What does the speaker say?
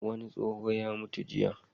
Wani tsoho ya mutu jiya.